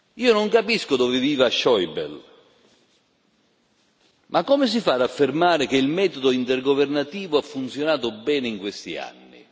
Io non capisco dove viva Schäuble ma come si fa ad affermare che il metodo intergovernativo ha funzionato bene in questi anni?